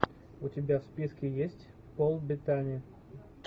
у тебя в списке есть пол беттани